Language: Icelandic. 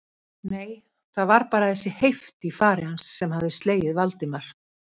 Nei, það var bara þessi heift í fari hans sem hafði slegið Valdimar.